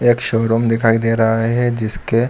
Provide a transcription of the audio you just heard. एक शोरूम दिखाई दे रहा है जिसके --